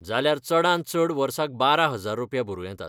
जाल्यार चडांत चड वर्साक बारा हजार रुपया भरूं येतात.